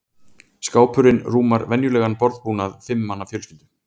skápurinn rúmar venjulegan borðbúnað fimm manna fjölskyldu